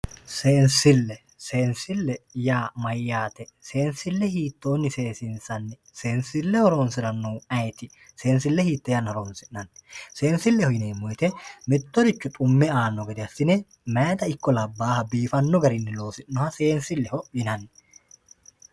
Seensile, seensile yaa mayte, seensile hiittonni seesissanni, seensile horonsiranohu ayiiti, seensile hiite yannara horonsi'nanni ,seensileho yineemmo woyte mittoricho xume aano gede assine mayitta ikko labbaha biifano garinni loosi'noha seensileho yinnanni.